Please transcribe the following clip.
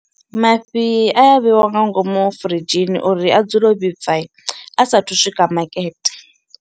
Mafhi a ya vheiwa nga ngomu firidzhini uri a dzule o vhibvai a sathu swika makete.